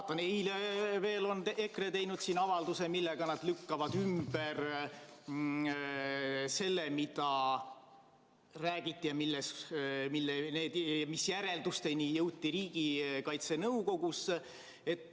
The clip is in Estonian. Ja eile veel on EKRE teinud avalduse, millega nad lükkavad ümber selle, mida räägiti ja mis järeldusteni jõuti Riigikaitse Nõukogus.